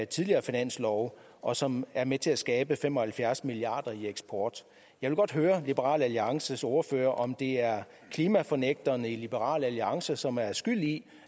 tidligere finanslove og som er med til at skabe for fem og halvfjerds milliard kroner i eksport jeg vil godt høre liberal alliances ordfører om det er klimafornægterne i liberal alliance som er skyld i